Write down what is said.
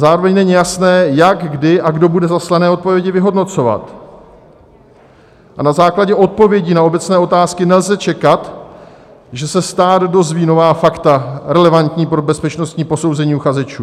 Zároveň není jasné, jak, kdy a kdo bude zaslané odpovědi vyhodnocovat, a na základě odpovědí na obecné otázky nelze čekat, že se stát dozví nová fakta relevantní pro bezpečnostní posouzení uchazečů.